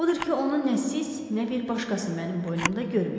Odur ki, onu nə siz, nə bir başqası mənim boynumda görməyəcək.